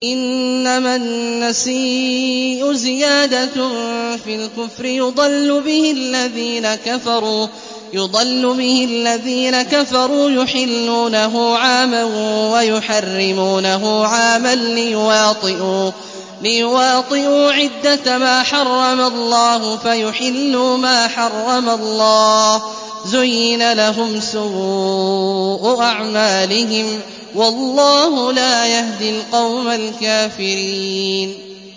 إِنَّمَا النَّسِيءُ زِيَادَةٌ فِي الْكُفْرِ ۖ يُضَلُّ بِهِ الَّذِينَ كَفَرُوا يُحِلُّونَهُ عَامًا وَيُحَرِّمُونَهُ عَامًا لِّيُوَاطِئُوا عِدَّةَ مَا حَرَّمَ اللَّهُ فَيُحِلُّوا مَا حَرَّمَ اللَّهُ ۚ زُيِّنَ لَهُمْ سُوءُ أَعْمَالِهِمْ ۗ وَاللَّهُ لَا يَهْدِي الْقَوْمَ الْكَافِرِينَ